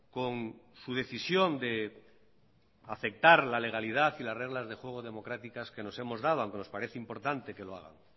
con su decisión de afectar la legalidad y las reglas de juego democráticas que nos hemos dado auque nos parece importante que lo haga